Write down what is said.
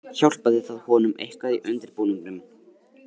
Hjálpaði það honum eitthvað í undirbúningnum.